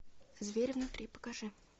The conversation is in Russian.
зверь внутри покажи